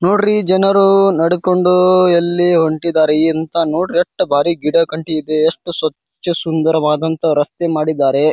ನೋಡ್ರಿ ಜನರು ನಡಕೊಂಡು ಎಲ್ಲಿ ಹೊಂಟ್ಟಿದ್ದರೆ ಎಂತ ನೋಡ್ರಿ ಎಷ್ಟ ಬಾರಿ ಗಿಡ ಗಂಟಿ ಇದೆ ಎಷ್ಟು ಸ್ವಚ್ಛಸುಂದರವಾದಂತೆ ರಸ್ತೆ ಮಾಡಿದ್ದಾರೆ.